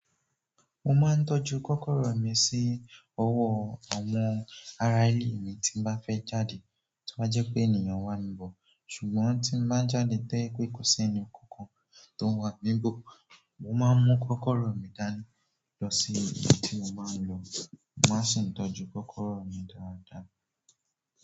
Mo máa ń tọ́jú kọ́kọ́rọ́ mi sí ọwọ́ àwọn ará ilé mi tí n bá fẹ́ jáde tọ́ bá jẹ́ pé ènìyàn wà níbọ̀, ṣùgbọ́n tí n bá n jáde to yẹ̀ pé kò sí ẹni kankan tó wà níbò, mo máa ń mú kọ́kọ́rọ́ mi dání lọ sí ibi tí mo máa ń lọ n máa sì ń tọ́jú kọ́kọ́rọ́ mi dáadáa.